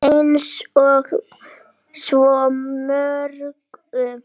Eins og svo mörgu.